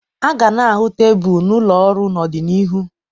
A ga na-ahụ tebụl n'ụlọ ọrụ n'ọdịnihu